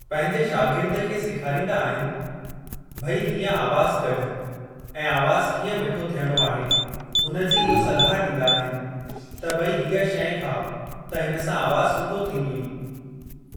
पंहिंजे शार्गिद खे सिखारींदा आहिनि भई हीअं आवाज़ कढु ऐं आवाज़ कीअं मिठो थियणो आहे हुन जी इहो सलाहु ॾींदा आहिनि त भई हीअ शइ खाउ त हिन सां आवाज़ सुठो थींदुइ।